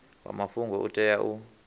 wa mafhungo u tea u